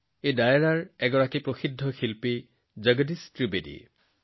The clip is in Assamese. এই ডায়েৰাৰ এজন বিখ্যাত শিল্পী হৈছে ভাই জগদীশ ত্ৰিবেদীজী